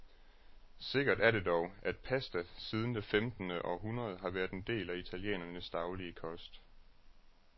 Sikkert er det dog, at pasta siden det femtende århundrede har været en del af italienernes daglige kost.